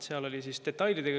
Seal oli küsimus detailides.